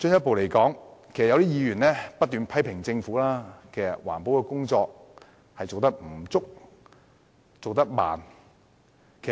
此外，有議員不斷批評政府的環保工作做得不足和緩慢。